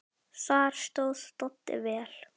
Þar stóð Doddi vel.